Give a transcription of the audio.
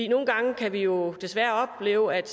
nogle gange kan vi jo desværre opleve at